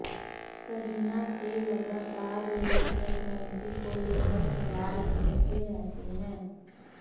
करीना से लगातार लोग प्रेग्नेंसी को लेकर सवाल पूछते रहते हैं